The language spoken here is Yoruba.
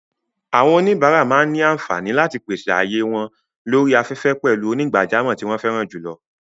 Àwọn oníbàárà máa ní àǹfààní láti pèsè ààyè wọ́n lórí afẹ́fẹ́ pẹ̀lú onígbàjámọ̀ tí wọ́n fẹ́ràn jùlọ.